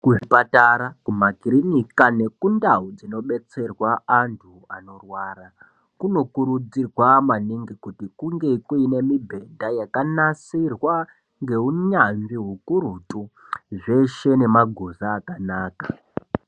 Kuzvipatara makirinika ngendau dzino detserwa antu anorwara kuno kuridzirwa maningi kuti kunge nemibhedha yakanasirwa ngeunyanzvi hukurutu zveshe nemaguza akanaka.